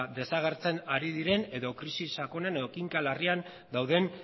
desagertzen ari diren edo krisi sakonean edo kinka larrian dauden